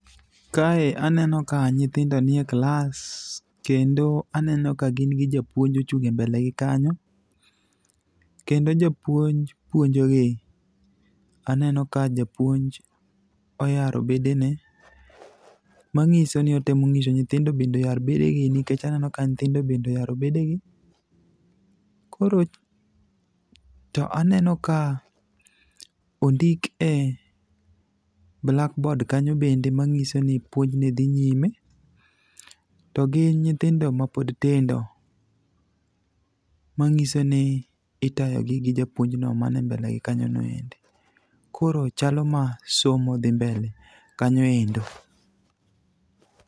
Kae aneno ka nyithindo nie klas kendo aneno ka gin gi japuonj ochung' e mbele gi kanyo, kendo japuonj puonjogi, aneno ka japuonj oyaro bedene, mang'iso ni otemo ng'iso nyithindo bende oyar bedegi nikech aneno ka nyithindo bende oyaro bedegi. To aneno ka ondik e blackboard kanyo bende mang'iso ni puonj ne dhi nyime, to gin nyithindo mapod tindo, mang'iso ni itayogi gi japuonj no mane mblele gi kanyo no endo. Koro chalo ma somo dhi mbele kanyo endo.